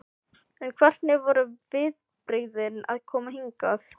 En hvernig voru viðbrigðin að koma hingað?